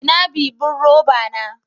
Ina bibin roba na?